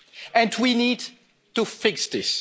And we need to fix this.